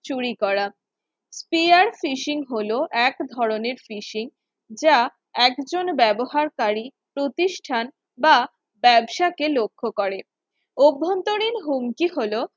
চুরি করা, Fear Fishing হলো এক ধরনের Fishing যা একজন ব্যবহারকারী প্রতিষ্ঠান বা ব্যবসা কে লক্ষ্য করে অভ্যন্তরীণ হুমকি হল